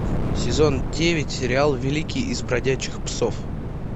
сезон девять сериал великий из бродячих псов